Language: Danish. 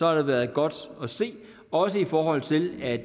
har været godt at se også i forhold til at